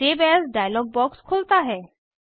save as dialog box खुलता है